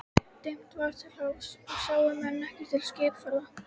Dimmt var til hafs og sáu menn ekkert til skipaferða.